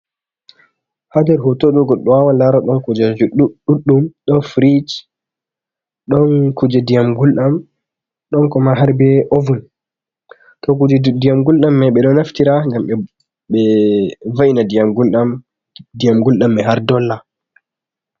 Hader hotoɗo goddo wawa laro don kujeje ɗuɗɗum don firish, don kuje diyam, guldam ɗon koma har be oven. to kuje diyam guldam mai ɓe ɗo naftira gam be be va'ina ndiyam guldam dyam guldam mai har dolla..